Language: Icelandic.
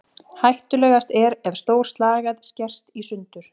Hættulegast er ef stór slagæð skerst í sundur.